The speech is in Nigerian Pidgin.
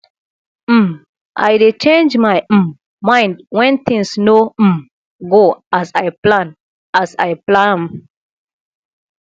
um i dey change my um mind wen things no um go as i plan as i plan am